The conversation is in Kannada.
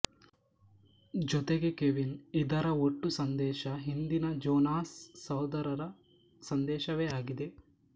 ಜೊತೆಗೆ ಕೆವಿನ್ ಇದರ ಒಟ್ಟೂ ಸಂದೇಶ ಹಿಂದಿನ ಜೊನಾಸ್ ಸಹೋದರರ ಸಂದೇಶವೇ ಆಗಿದೆ